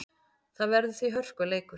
Það verður því hörkuleikur.